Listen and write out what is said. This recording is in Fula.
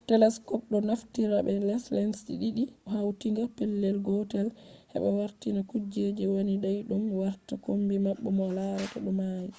telescopes ɗo naftira be lenses ɗiɗi hautinga pellel gotel heɓa wartina kuje wani daiɗum warta kombi ma bo larta ɗo mauni